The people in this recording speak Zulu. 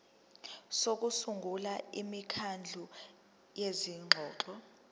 sokusungula imikhandlu yezingxoxo